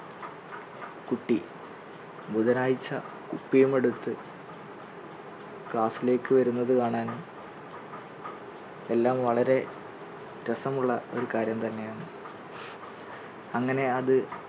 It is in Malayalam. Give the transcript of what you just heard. ബുധനാഴ്ച കുപ്പിയും എടുത്ത് class ലേക്ക് വരുന്നത് കാണാൻ എല്ലാം വളരെ രസമുള്ള ഒരു കാര്യം തന്നെയാണ്. അങ്ങനെ അത്